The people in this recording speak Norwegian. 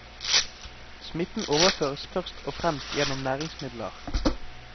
Smitten overføres først og fremst gjennom næringsmidler.